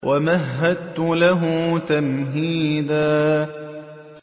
وَمَهَّدتُّ لَهُ تَمْهِيدًا